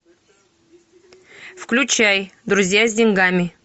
включай друзья с деньгами